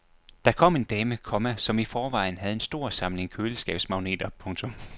Der kom en dame, komma som i forvejen havde en stor samling køleskabsmagneter. punktum